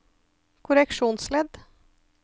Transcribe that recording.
korreksjonsledd